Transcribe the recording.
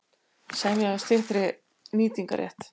Semja um styttri nýtingarrétt